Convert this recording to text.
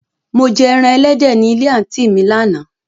Mò jẹ ẹran èléde ní ilẹ̀ àntí mi làna.